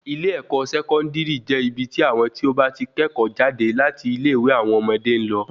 ilé-ẹ̀kọ́ Sẹkọndiri je ibi tí àwon tí o ba tí kẹ́ẹ́kọ̀ jáde láti ilẹ ìwé àwọn ọmọdé ń lọ.